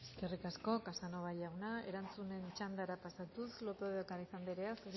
eskerrik asko casanova jauna erantzunen txandara pasatuz lópez de ocáriz andrea